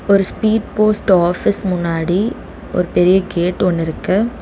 ஒரு speed post office முன்னாடி ஒரு பெரிய கேட் ஒன்னு இருக்கு.